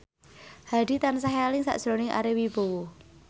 Hadi tansah eling sakjroning Ari Wibowo